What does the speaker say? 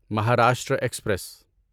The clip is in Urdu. مہاراشٹرا ایکسپریس